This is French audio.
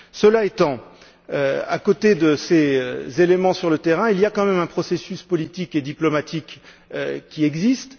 Cela étant, à côté de ces éléments sur le terrain, il y a quand même un processus politique et diplomatique qui existe.